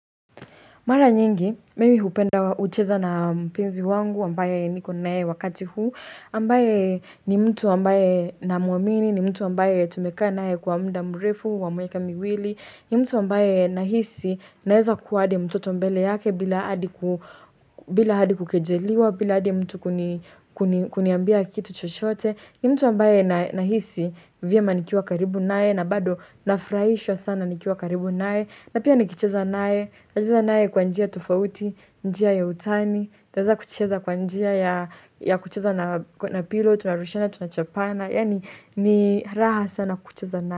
Mara nyingi, mimi hupenda kucheza na mpenzi wangu ambaye niko naye wakati huu. Ambaye ni mtu ambaye namuamini, ni mtu ambaye tumekaa naye kwa muda mrefu, wa miaka miwili. Ni mtu ambaye nahisi naeza kuwa hadi mtoto mbele yake bila hadi kukejeliwa, bila hadi mtu kuniambia kitu chochote. Ni mtu ambaye nahisi vyema nikiwa karibu nyae na bado nafurahishwa sana nikiwa karibu naye. Na pia nikicheza naye kwa njia tofauti, njia ya utani nitaweza kucheza kwa njia ya kucheza na pillow, tunarushiana, tunachapana Yani ni raha sana kucheza naye.